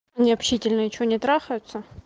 необщительная что не трахаются